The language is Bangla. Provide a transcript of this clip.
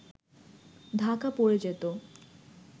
ঢাকা পড়ে যেত